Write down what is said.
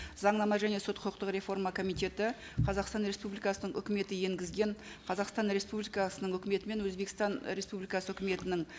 заңнама және сот құқықтық реформа комитеті қазақстан республикасының өкіметі енгізген қазақстан республикасының өкіметі мен өзбекстан республикасы өкіметінің